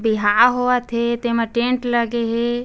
बिहाव होवथे तेमा टेंट लगे हे।